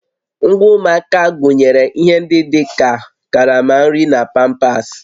Ngwa ụmụaka gụnyere ihe ndị dị ka karama nri na pampasị